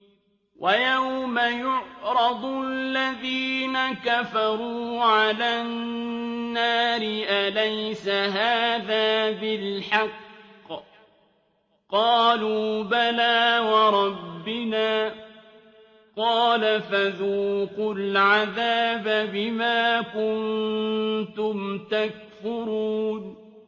وَيَوْمَ يُعْرَضُ الَّذِينَ كَفَرُوا عَلَى النَّارِ أَلَيْسَ هَٰذَا بِالْحَقِّ ۖ قَالُوا بَلَىٰ وَرَبِّنَا ۚ قَالَ فَذُوقُوا الْعَذَابَ بِمَا كُنتُمْ تَكْفُرُونَ